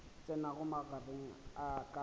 tsenago magareng a ka le